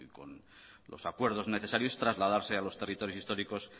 con los acuerdos necesarios trasladarse a los territorios históricos